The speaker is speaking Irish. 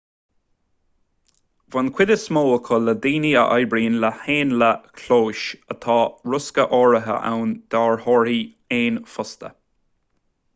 bhain cuid is mó acu le daoine a oibríonn le héanlaith chlóis ach tá riosca áirithe ann d'fhairtheoirí éan fosta